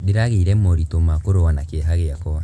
Ndĩragĩire moritũ ma kũrũa na kĩeha gĩakwa.